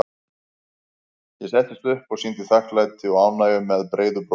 Ég settist upp og sýndi þakklæti og ánægju með breiðu brosi.